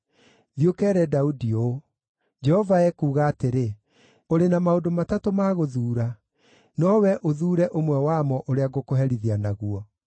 “Thiĩ ũkeere Daudi ũũ, ‘Jehova ekuuga atĩrĩ: Ũrĩ na maũndũ matatũ ma gũthuura. Nowe ũthuure ũmwe wamo ũrĩa ngũkũherithia naguo.’ ”